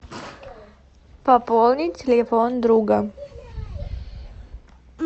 пополнить телефон друга